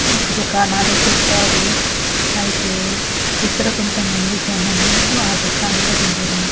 దుకాణాలు పెట్టారు అయితే ఇక్కడ కొంతమంది జనం ఆ దుకాణాల దగ్గర --